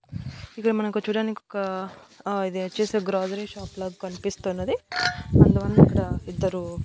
ఇక్కడ మనకు చూడ్డానికొక ఆ ఇది వచ్చేసి గ్రోజరీ షాప్ లాగ కన్పిస్తున్నది కొంతమంద్ ఇక్కడా ఇద్దరు--